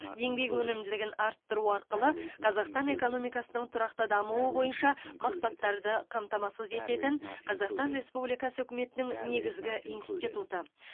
еңбек өнімділігін арттыру арқылы қазақстан экономикасының тұрақты дамуы бойынша мақсаттарды қамтамасыз ететін қазақстан республикасы үкіметінің негізгі институты